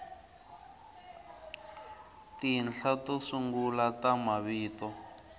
tinhla to sungula ta mavito